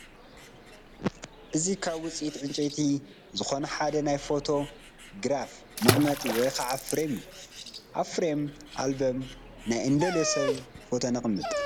እዚ ካብ ውፅኢት ዕንጨይቲ ዝኾነ ሓደ ናይ ፎቶ ግራፍ መቐመጢ ወይ ከዓ ፍሬም እዩ፡፡ ኣብ ፍሬም ኣልበም ናይ እንደልዮ ሰብ ፎቶ ነቐምጥ፡፡